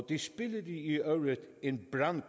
i den